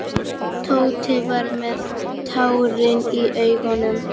Tóti var með tárin í augunum.